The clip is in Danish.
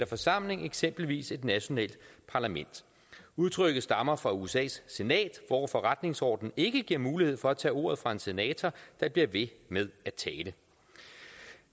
forsamling eksempelvis et nationalt parlament udtrykket stammer fra usas senat hvor forretningsordenen ikke giver mulighed for at tage ordet fra en senator der bliver ved med at tale